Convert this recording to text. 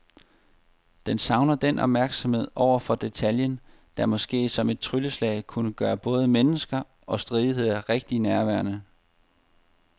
Den savner den opmærksomhed over for detaljen, der måske som et trylleslag kunne gøre både mennesker og stridigheder rigtig nærværende.